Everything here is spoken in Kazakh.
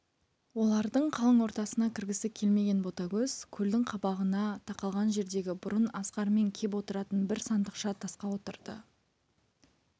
олардың қалың ортасына кіргісі келмеген ботагөз көлдің қабағына тақалған жердегі бұрын асқармен кеп отыратын бір сандықша тасқа отырды